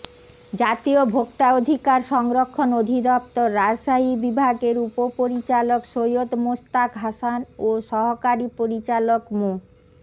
জাতীয় ভোক্তা অধিকার সংরক্ষণ অধিদপ্তর রাজশাহী বিভাগের উপপরিচালক সৈয়দ মোস্তাক হাসান ও সহকারী পরিচালক মো